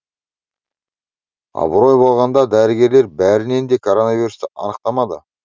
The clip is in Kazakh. абырой болғанда дәрігерлер бірінен де коронавирусты анықтамады